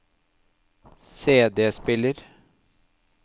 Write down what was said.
CD-spiller